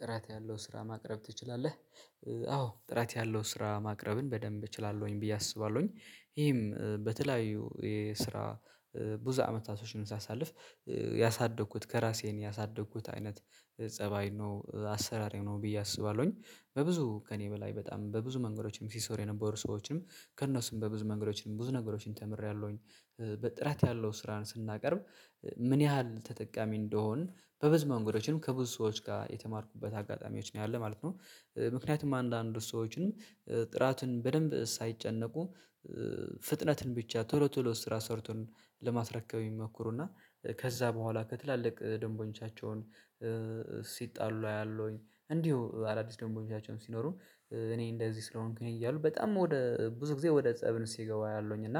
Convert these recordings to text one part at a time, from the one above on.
ጥራት ያለው ስራ ማቅረብ ትችላለህ? አዎ ጥራት ያለው ስራ ማቅረብን በደንብ እችላለሁኝ ብዬ አስባለሁኝ ይሄም በተለያዩ የስራ ብዙ አመታቶችን ሳሳልፍ ያሳደግኩት ከራሴም ያሳደግኩት አይነት ፀባይ ነው አሰራሬ ነው ብዬ አስባለሁኝ በብዙ ከእኔ በላይ በጣም በብዙ መንገዶችም ሲሰሩ የነበሩ ሰዎችም ከእነሱም በብዙ መንገዶችንም ብዙ ነገሮችን ተምሬያለሁኝ በጥራት ያለው ስራን ስናቀርብ ምን ያህል ተጠቃሚ እንደሆንን በብዙ መንገዶችም ከብዙ ሰዎች ጋር የተማርኩበት አጋጣሚዎች ነው ያለህ ማለት ነው። ምክንያቱም አንዳንድ ሰዎችንም ጥራቱን በደንብ ሳይጨነቁ ፍጥነትን ብቻ ቶሎ ቶሎ ስራ ሰርቶን ለማስረከብ ይሞክሩና ከዛ በኋላ ከትላልቅ ደንቦኞቻቸውን ሲጣሉ አያለሁኝ እንዲሁ አዳዲስ ደንበኞ ቻቸውን ሲኖሩ እኔ እንደዚህ ስለሆንክ እኔ እያሉ በጣም ወደ ብዙ ጊዜ ወደ ፀብን ሲገባ ያለውኝ እና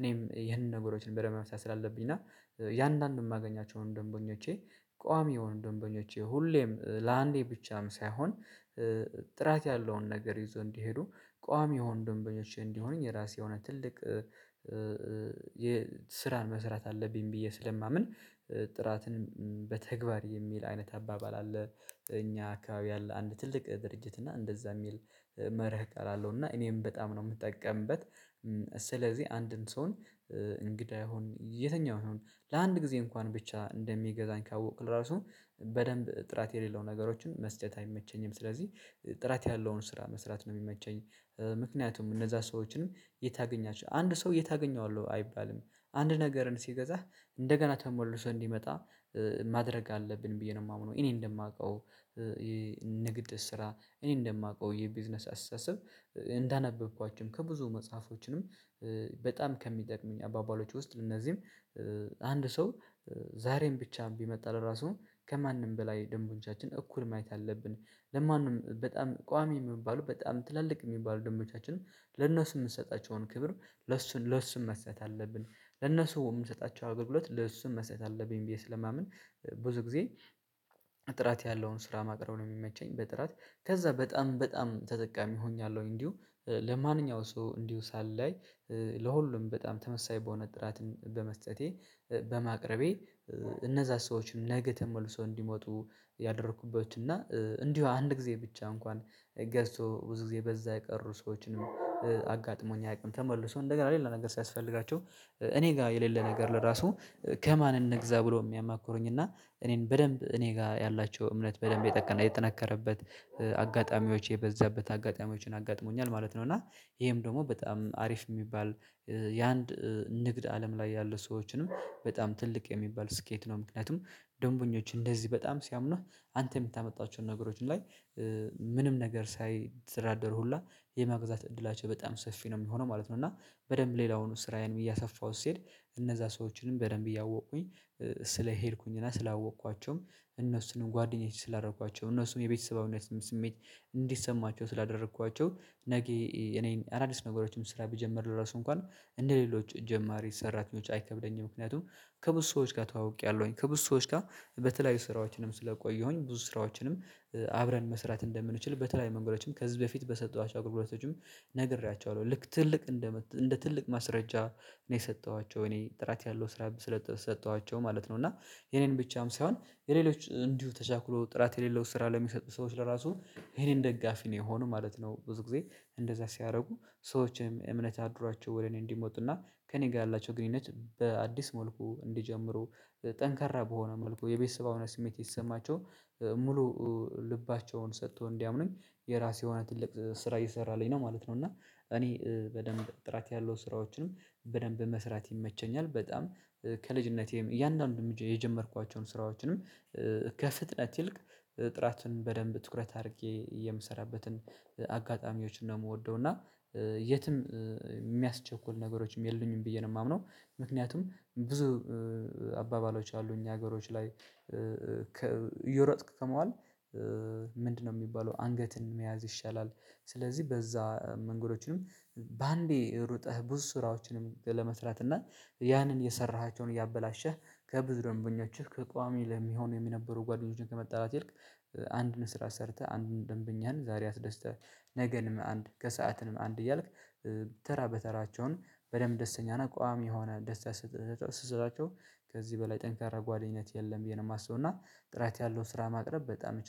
እኔም ይሄንን ነገሮችን በደንብ መስራት ስላለብኝ እና ያንን የማገኛቸውን ደንበኞቼ ቋሚ የሆኑ ደንበኞቼ ሁሌም ለአንዴ ብቻም ሳይሆን ጥራት ያለውን ነገር ይዞ እንዲሄዱ ቋሚ የሆኑ ደንበኞች እንዲሆንኝ የራሴ የሆነ ትልቅ የስራን መስራት አለብኝ ብዬ ስለማምን ጥራትን በተግባር የሚል አይነት አባባል አለ። እኛ አካባቢ ያለ አንድ ትልቅ ድርጅት እና እንደዛ የሚል መርህ ቀላል አለው እና እኔም በጣም ነው የምጠቀምበት ስለዚህ አንድን ሰው እንግዳ ይሁን የትኛው ነው ለአንድ ጊዜ እንኳን ብቻ እንደሚገዛኝ ካወቅክ ለራሱ በደንብ ጥራት የሌለው ነገሮችን መስጨት አይመቸኝም ስለዚህ ጥራት ያለውን ስራ መስራት ነው የሚመቸኝ። ምክንያቱም እነዛ ሰዎችንም የታገኛቸው አንድ ሰው የታገኘዋለሁ አይባልም አንድ ነገርን ሲገዛህ እንደገና ተሞልሶ እንዲመጣ ማድረግ አለብን ብዬ ነው የማምነው እኔ እንደማውቀው የንግድ ስራ እኔ እንደማውቀው የቢዝነስ አስታስብ እንዳነበብኳቸውም ከብዙ መጽሐፎችንም በጣም ከሚጠቅሙኝ አባባሎች ውስጥ እነዚህም አንድ ሰው ዛሬም ብቻ ቢመጣ ለራሱ ከማንም በላይ ደንበኞቻችን እኩል ማየት አለብን ለማንም በጣም ቋሚ የሚባለው በጣም ትላልቅ የሚባሉ ደንበኞቻችንም ለእነሱ የምንሰጣቸውን ክብር ለእሱ ለእሱ መሰጠት አለብን ለእነሱ የምንሰጣቸው አገልግሎት ለእሱም መስጠት አለብኝ ብዬ ስለማምን። ብዙ ጊዜ ጥራት ያለውን ስራ ማቅረብ ነው የሚመቸኝ በጥራት ከዛ በጣም በጣም ተጠቃሚ ሆኛለሁኝ እንዲሁ ለማንኛውም ሰው እንዲሁ ሳላይ ለሁሉም በጣም ተመሳይ በሆነ ጥራትን በመስጠቴ በማቅረቤ እነዛን ሰዎችን ነገ ተመልሶ እንዲመጡ ያደረኩበት እና እንዲሁ አንድ ጊዜ ብቻ እንኳን ገዝቶ ብዙ ጊዜ በዛ የቀሩ ሰዎችንም አጋጥሞኝ አያውቅም ተመልሶ እንደገና ሌላ ነገር ሲያስፈልጋቸው እኔ ጋር የሌለ ነገር ለራሱ ከማን እንግዛ ብሎ የሚያማክሩኝ እና እኔን በደንብ እኔ ጋር ያላቸው እምነት በደንብ የጠቀና የጠነከረበት አጋጣሚዎች የበዛበት አጋጣሚዎችን አጋጥሞኛል ማለት ነው። እና ይሄም ደግሞ በጣም አሪፍ የሚባል የአንድ ንግድ አለም ላይ ያሉ ሰዎችንም በጣም ትልቅ የሚባል ስኬት ነው ምክንያቱም ደንበኞች እንደዚህ በጣም ሲያምኑህ አንተ የምታመጣቸውን ነገሮች ላይ ምንም ነገር ሳይደራደር ሁላ የመግዛት እድላቸው በጣም ሰፊ ነው የሚሆነው ማለት ነው። እና በደንብ ሌላውንም ስራዬንም እያሰፋሁ ሲሄድ እነዛ ሰዎችንም በደንብ እያወቁኝ ስለሄድኩኝ እና ስላወቅኳቸውም እነሱንም ጓደኞቼ ስላደረኳቸው እነሱንም የቤተሰባዊነት ስሜት እንዲሰማቸው ስላደረኳቸው ነገ እኔ አዳዲስ ነገሮችን ስራ ብጀምር ለራሱ እንኳን እንደሌሎች ጀማሪ ሰራተኞች አይከብደኝም ምክንያቱም ከብዙ ሰዎች ጋር ተዋውቄያለሁኝ ከብዙ ሰዎች ጋር በተለያዩ ስራዎችንም ስለቆየሁኝ ብዙ ስራዎችንም አብረን መስራት እንደምንችል በተለያየ መንገዶችም ከዚህ በፊት በሰጠዋቸው አግልግሎቶችም ነግሬያቸዋለሁ ልክ ትልቅ እንደ እንደ ትልቅ ማስረጃ እኔ የሰጠኋቸው እኔ ጥራት ያለው ስራ ስለሰጠኋቸው ማለት ነው እና የኔን ብቻም ሳይሆን የሌሎች እንዲሁ ተቻኩሎ ጥራት የሌለው ስራ ለሚሰጡ ሰዎች ለራሱ የኔን ደጋፊ ነው የሆነው ማለት ነው። ብዙ ጊዜ እንደዛ ሲያደርጉ ሰዎችም እምነት አድሯቸው ወደ እኔ እንዲመጡና ከእኔ ጋር ያላቸው ግንኙነት በአዲስ መልኩ እንዲጀምሩ ጠንከራ በሆነ መልኩ የቤተሰባዊነት ስሜት እየተሰማቸው ሙሉ ልባቸውን ሰጥቶ እንዲያምኑኝ የራሴ የሆነ ትልቅ ስራ እየሰራልኝ ነው ማለት ነው እና እኔ በደንብ ጥራት ያለው ስራዎችንም በደንብ መስራት ይመቸኛል በጣም ከልጅነቴም እያንዳንዱን የጀመርኳቸውን ስራዎችንም ከፍጥነት ይልቅ ጥራትን በደንብ ትኩረት አድርጌ የምሰራበትን አጋጣሚዎችን ነው የምወደው እና የትም የሚያስቸኩል ነገሮችም የሉኝም ብዬ ነው የማምነው። ምክንያቱም ብዙ አባባሎች አሉ እኛ ሀገሮች ላይ እየሮጥክ ከማዋል ምንድነው የሚባለው አንገትን መያዝ ይሻላል? ስለዚህ በዛ መንገዶችንም በአንዴ ሩጠህ ብዙ ስራዎችንም ለመስራት እና ያንን የሰራሃቸውን እያበላሸህ ከብዙ ደንበኛችሁ ከቋሚ ለሚሆን የሚነበሩ ጓደኞቼን ከመጣላት ይልቅ አንድን ስራ ሰርተህ አንድን ደንበኛህን ዛሬ አስደስተህ ነገንም አንድ ከሰአትንም አንድ እያልክ ተራ በተራቸውን በደንብ ደስተኛና ቋሚ የሆነ ደስታ ስትሰጣቸው ከዚህ በላይ ጠንካራ ጓደኝነት የለም ብዬ ነው የማስበው። እና ጥራት ያለው ስራ ማቅረብ በጣም እችላለሁ።